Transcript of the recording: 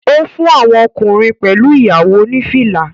Ó fún àwọn ọkùnrin pẹ̀lú ìyàwó ní fìlà